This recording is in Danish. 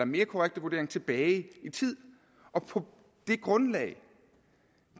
mere korrekte vurdering tilbage i tid og på det grundlag